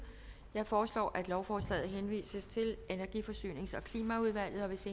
jeg foreslår at lovforslaget henvises til energi forsynings og klimaudvalget hvis